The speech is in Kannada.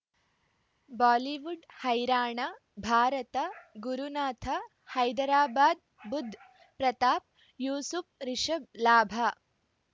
ಬಾಲಿವುಡ್ ಹೈರಾಣ ಭಾರತ ಗುರುನಾಥ ಹೈದರಾಬಾದ್ ಬುಧ್ ಪ್ರತಾಪ್ ಯೂಸುಫ್ ರಿಷಬ್ ಲಾಭ